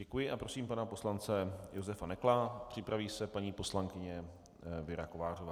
Děkuji a prosím pana poslance Josefa Nekla, připraví se paní poslankyně Věra Kovářová.